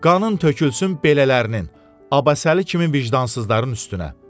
Qanın tökülsün belələrinin, Abbasəli kimi vicdansızların üstünə.